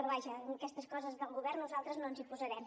però vaja en aquestes coses del govern nosaltres no ens hi posarem